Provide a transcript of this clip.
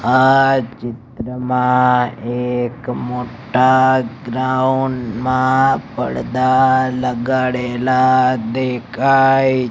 આ ચિત્રમાં એક મોટ્ટા ગ્રાઉન્ડ મા પડદા લગાડેલા દેખાય--